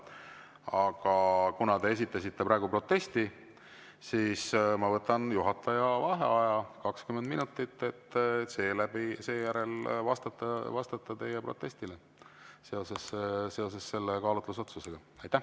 Aga kuna te esitasite praegu protesti, siis ma võtan juhataja vaheaja 20 minutit, et seejärel vastata teie protestile seoses kaalutlusotsusega.